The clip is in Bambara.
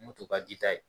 Mun tun ka ji ta ye